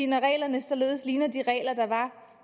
når reglerne således ligner de regler der var